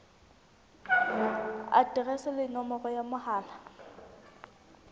aterese le nomoro ya mohala